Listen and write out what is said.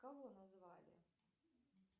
кого назвали